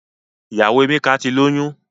Ìyàwó Emeka ti lóyún.